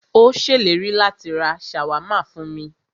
Ó ṣèlérí láti rá ṣàwámà fún mí.